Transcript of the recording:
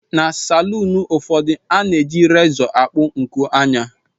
Na salụụnụ ụfọdụ, a na-eji rézọ akpụ nku ányà